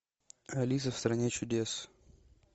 алиса в стране чудес